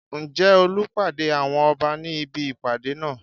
Ǹjẹ́ Olú pàdé àwọn Ọba ní ibi ìpàdé náà?